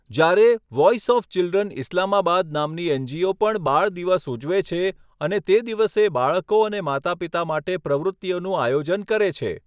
જ્યારે, voice of children Islamabad નામની NGO. પણ બાળદિવસ ઉજવે છે અને તે દિવસે બાળકો અને માતાપિતા માટે પ્રવૃત્તિઓનું આયોજન કરે છે.